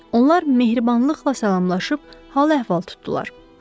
Onlar mehribanlıqla salamlaşıb hal-əhval tutdular.